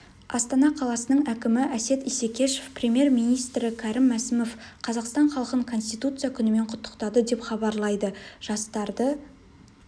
астана қаласының әкімі әсет исекешев премьер-министрі кәрім мәсімов қазақстан халқын конституция күнімен құттықтады деп хабарлайды жастарды